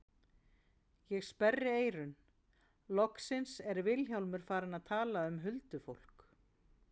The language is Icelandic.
Ég sperri eyrun, loksins er Vilhjálmur farinn að tala um huldufólk.